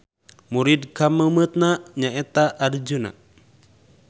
Murid kameumeutna nyaeta Arjuna.